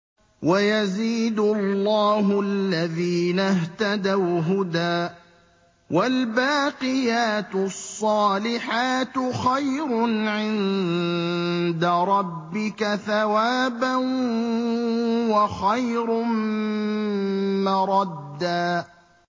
وَيَزِيدُ اللَّهُ الَّذِينَ اهْتَدَوْا هُدًى ۗ وَالْبَاقِيَاتُ الصَّالِحَاتُ خَيْرٌ عِندَ رَبِّكَ ثَوَابًا وَخَيْرٌ مَّرَدًّا